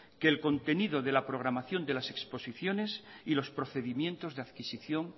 que el contenido de la programación de las exposiciones y los procedimientos de adquisición